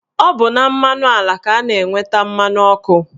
Ọ bụ na mmanụ ala ka a na-enweta mmanụ ọkụ